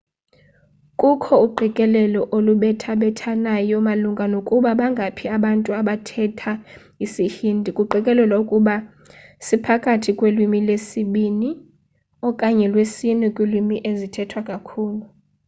kukho uqikelelo olubethabethanayo malunga nokuba bangaphi abantu abathetha isi-hindi kuqikelelwa ukuba siphakathi kwelwimi lwesibini okanye lwesine kwiilwimi ezithethwa kakhulu